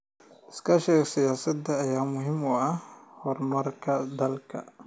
Iskaashiga siyaasadeed ayaa muhiim u ah horumarka dalka.